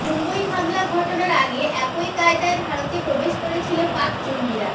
মুম্বই হামলা ঘটানোর আগে একই কায়দায় ভারতে প্রবেশ করেছিল পাক জঙ্গিরা